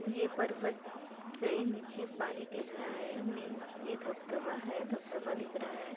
ये पर्वत से नीचे पानी गिर रहा है मीन्स ये धब धबा है धब धबा दिख रहा है।